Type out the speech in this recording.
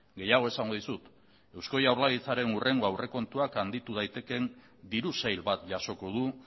gehiago esango dizut eusko jaurlaritzaren hurrengo aurrekontuak handitu daitekeen diru sail bat jasoko du